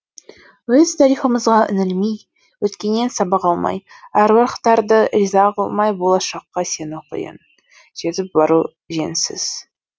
өз тарихымызға үңілмей өткеннен сабақ алмай әруақтарды риза қылмай болашаққа сену қиын жетіп бару жөнсіз